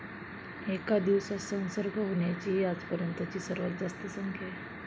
एका दिवसात संसर्ग होण्याची ही आजपर्यंतची सर्वात जास्त संख्या आहे.